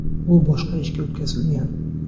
U boshqa ishga o‘tkazilgan.